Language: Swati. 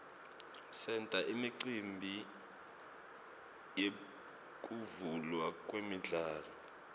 senta imicimbi yekuvulwa kwemidlalo